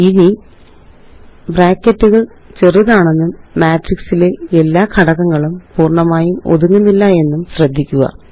ഇനി ബ്രാക്കറ്റുകള് ചെറുതാണെന്നും മാട്രിക്സിലെ എല്ലാ ഘടകങ്ങളും പൂര്ണ്ണമായും ഒതുങ്ങുന്നില്ല എന്നും ശ്രദ്ധിക്കുക